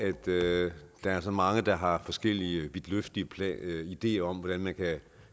jo derfor der er så mange der har forskellige vidtløftige ideer om hvordan man kan